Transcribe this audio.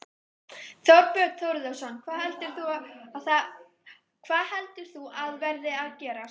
Þorbjörn Þórðarson: Hvað heldur þú að verði að gerast?